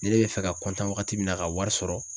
Ni ne bɛ fɛ ka waagati min na ka wari sɔrɔ